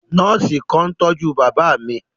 Nọọsi kan n tọju baba mi.